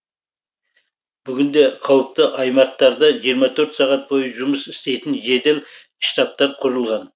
бүгінде қауіпті аймақтарда жиырма төрт сағат бойы жұмыс істейтін жедел штабтар құрылған